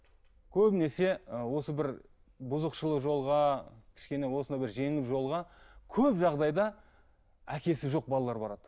көбінесе ы осы бір бұзықшылық жолға кішкене осындай бір жеңіл жолға көп жағдайда әкесі жоқ балалар барады